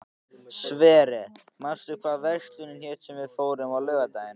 Sverre, manstu hvað verslunin hét sem við fórum í á laugardaginn?